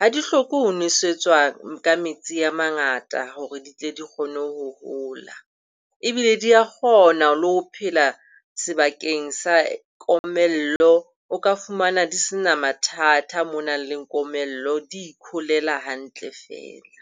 Ha di hloke ho nwesetswa ka metsi a mangata hore di tle di kgone ho ho hola ebile di a kgona le ho phela sebakeng sa komello. O ka fumana di se na mathata mo ho nang le komello, di ikholela hantle fela.